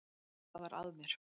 Hvað var að mér?